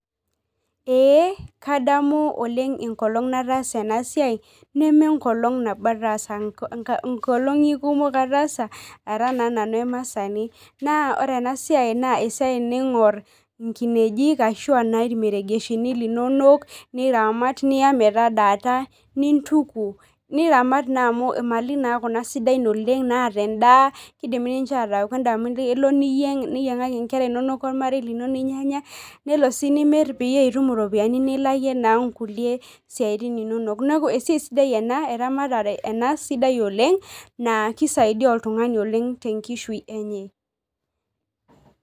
Ee kadamu oleng enkolong nataasa enasiai nemenkolong nabo ataasa, nkolongi kumok ataasaara na nanu emaasani na ore enasiai na esiai ningor nkinejik ashu a irmeregeshi linonok niramat niya metadaata nintuku niramat na amu mali nakuna sidan oleng naata endaa kindim ninche ataa endaa kelo niyieng niyiengaki nkera inonok ormarei lino ninyanya nelo si nimir pitum ropiyani nilakie na nkulie siatin inonok neaku esiai sidai ena, eramatare ena sidai oleng na kisaidia oleng oltungani tenkishui enye.